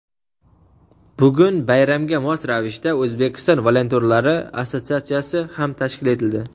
Bugun bayramga mos ravishda O‘zbekiston volontyorlari assotsiatsiya ham tashkil etildi.